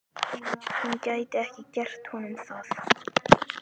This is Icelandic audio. Hún gæti ekki gert honum það.